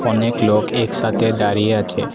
অনেক লোক একসাথে দাঁড়িয়ে আছে।